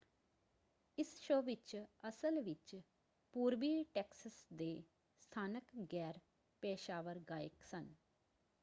ਇਸ ਸ਼ੋਅ ਵਿੱਚ ਅਸਲ ਵਿੱਚ ਪੂਰਬੀ ਟੈਕਸਸ ਦੇ ਸਥਾਨਕ ਗੈਰ-ਪੇਸ਼ਾਵਰ ਗਾਇਕ ਸਨ।